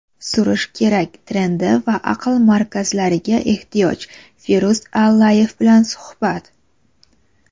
"surish kerak" trendi va aql markazlariga ehtiyoj - Firuz Allayev bilan suhbat.